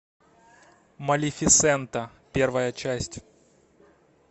малефисента первая часть